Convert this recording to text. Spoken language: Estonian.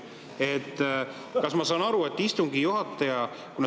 Kas ma saan aru, et istungi juhataja …